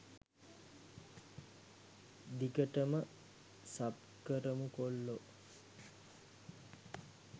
දිගටම සබ් කරමු කොල්ලෝ